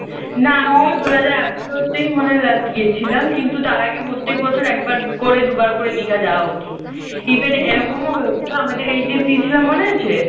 না আমিও দু’ হাজার আঠারোতেই মনে হয় last গিয়েছিলাম। কিন্তু তার আগে প্রত্যেক বছর একবার করে দুবার করে দিঘা যাওয়া হতো। even এরকমও হয়েছিল আমাদের HS দিয়েছিলাম মনে আছে?